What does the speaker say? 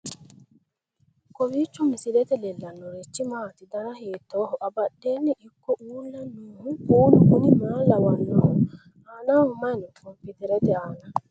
kowiicho misilete leellanorichi maati ? dana hiittooho ?abadhhenni ikko uulla noohu kuulu kuni maa lawannoho? aanaho mayi no kompiiterete aana